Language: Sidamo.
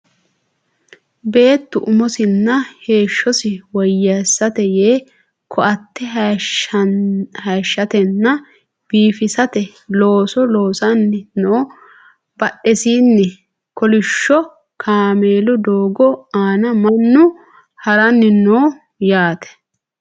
beettu umosinna heeshshosi woyyeessate yee ko"atte hayeeshshatenna biifisate looso loosanni no badhesiinni kolishsho kameelu doogo aana mannu haranni no yaate